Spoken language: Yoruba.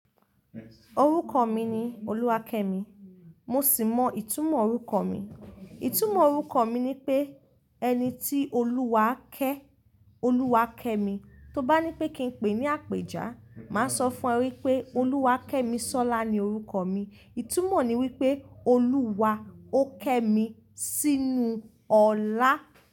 Orúkọ mi ni Oluwakemi. Mo sì mọ ìtumọ̀ orúkọ mi. Ìtumọ̀ orúkọ mi ni pé ẹni tí Olúwa ké, Oluwakemi. To bá ní pé kí n pè é ní àpéjà, màá sọ fún ẹ pé Oluwakemisola ni orúkọ mi. Ìtumọ̀ ni wípé Olúwa ó ké mi sínú ọlá.